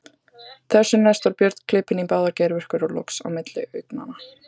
Þessu næst var Björn klipinn í báðar geirvörtur og loks á milli augnanna.